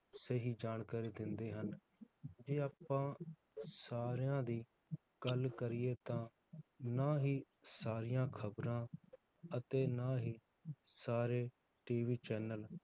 ਸਹੀ ਜਾਣਕਾਰੀ ਦਿੰਦੇ ਹਨ ਜੇ ਆਪਾਂ ਸਾਰਿਆਂ ਦੀ ਗੱਲ ਕਰੀਏ ਤਾਂ, ਨਾ ਹੀ ਸਾਰੀਆਂ ਖਬਰਾਂ ਅਤੇ ਨਾ ਹੀ ਸਾਰੇ TV channel